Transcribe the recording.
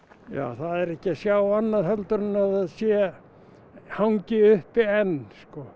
það er ekki að sjá annað en heldur en að það sé hangi uppi enn